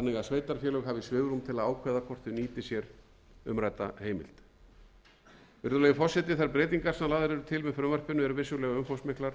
sveitarfélög hafi svigrúm til að ákveða hvort þau nýti sér umrædda heimild virðulegi forseti þær breytingar sem lagðar eru til með frumvarpinu eru vissulega umfangsmiklar